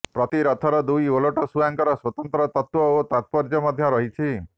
ପ୍ରତି ରଥର ଦୁଇ ଓଲଟ ଶୁଆଙ୍କର ସ୍ୱତନ୍ତ୍ର ତତ୍ତ୍ବ ଓ ତାତ୍ପର୍ଯ୍ୟ ମଧ୍ୟ ଅଛି